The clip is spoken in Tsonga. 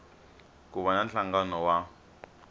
ku va na nhlangano wa